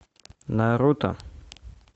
наруто